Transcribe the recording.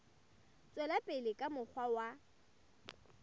tswela pele ka mokgwa wa